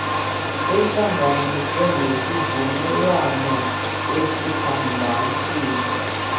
ihlanganiswe nesivumelwano sesibhambathiso